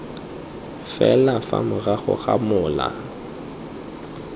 fela fa morago ga mola